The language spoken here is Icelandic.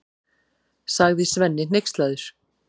sagði Svenni hneykslaður.